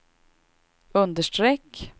understreck